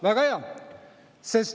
Väga hea!